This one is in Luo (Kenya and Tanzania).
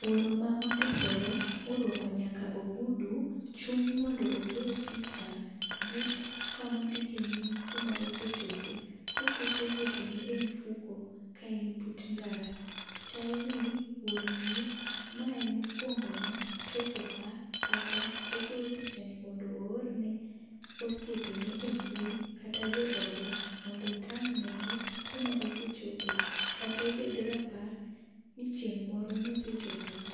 Wuoro ma ondisore ma orwako nyaka ogudu chung' mondo ogoye picha but kama ondike nying' kuma osechope. Ko oketo lwete ne e mfuko ka en but ndara chal ni wuoro ni ma en mokuongo ne chopo ka kata ogo picha ni mondo oore ne osiepe ne e mbui, kata jo ode mondo otang' ne gi kuma osechopo kata obed rapar ni chieng' moro ne osechopo ka.